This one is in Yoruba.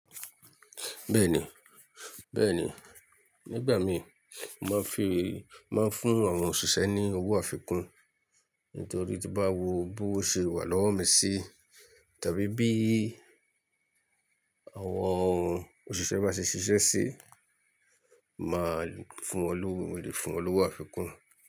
Bẹ́ẹ̀ni, bẹ́ẹ̀ni. Nígbà mi mo ma ń fi, mo ma ń fún àwọn òṣìṣẹ́ ní owó àfikún. Nítorí tí bá wo bó ṣe wà lọ́wọ́ mi sí tàbí bí àwọn òṣìṣẹ́ bá ṣe ṣiṣẹ́ sí, máa fún wọn lówó, mo lè fún wọn lówó àfikún.